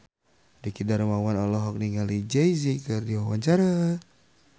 Dwiki Darmawan olohok ningali Jay Z keur diwawancara